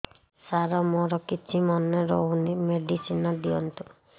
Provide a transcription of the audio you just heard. ସାର ମୋର କିଛି ମନେ ରହୁନି ମେଡିସିନ ଦିଅନ୍ତୁ